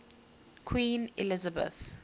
queen elizabeth